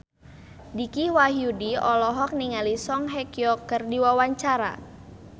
Dicky Wahyudi olohok ningali Song Hye Kyo keur diwawancara